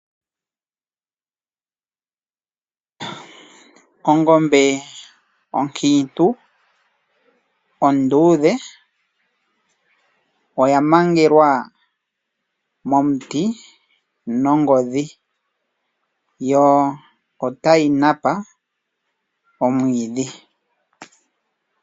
Ongombe onkiintu onduudhe oya mangelwa momuti nongodhi yo otayi napa omwiidhi.